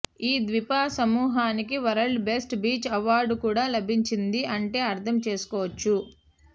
ఈ ద్వీప సమూహానికి వరల్డ్ బెస్ట్ బీచ్ అవార్డు కూడా లభించింది అంటే అర్ధం చేసుకోవచ్చు